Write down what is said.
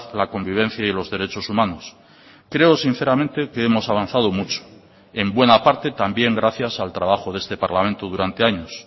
la convivencia y los derechos humanos creo sinceramente que hemos avanzado mucho en buena parte también gracias al trabajo de este parlamento durante años